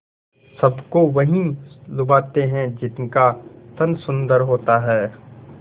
सबको वही लुभाते हैं जिनका तन सुंदर होता है